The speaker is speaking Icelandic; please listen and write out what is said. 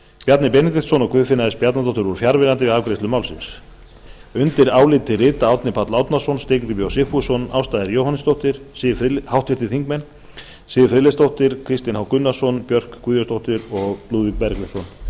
bjarni benediktsson og guðfinna s bjarnadóttir voru fjarverandi við afgreiðslu málsins undir álitið rita háttvirtir þingmenn árni páll árnason steingrímur j sigfússon ásta r jóhannesdóttir siv friðleifsdóttir kristinn h gunnarsson björk guðjónsdóttir og lúðvík bergvinsson